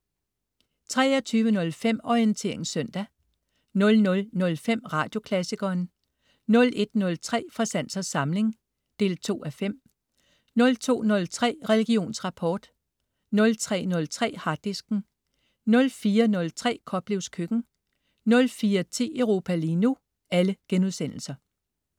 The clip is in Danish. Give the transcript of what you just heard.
23.05 Orientering søndag* 00.05 Radioklassikeren* 01.03 Fra sans og samling 2:5* 02.03 Religionsrapport* 03.03 Harddisken* 04.03 Koplevs Køkken* 04.10 Europa lige nu*